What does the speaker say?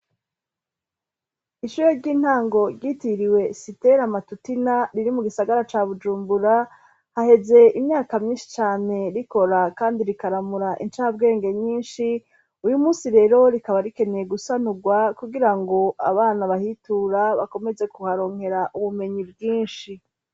Ishure ry'intango ryitiriwe sitera matutina riri mu gisagara ca Bujumbura, haheze imyaka myinshi cyane rikora kandi rikaramura incabwenge nyinshi. Uyu munsi rero rikaba rikeneye gusanurwa kugirango abana bahitura bakomeze kuharonkera ubumenyi bwinshi.